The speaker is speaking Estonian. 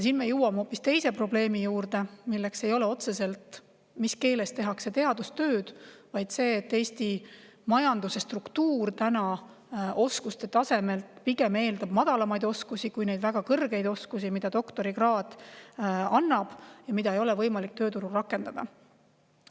Siin me jõuame hoopis teise probleemi juurde, milleks ei ole otseselt see, mis keeles tehakse teadustööd, vaid see, et Eesti majanduse struktuur eeldab pigem madalamaid oskusi kui neid väga kõrgeid oskusi, mida doktorikraad annab – neid ei ole võimalik tööturul rakendada.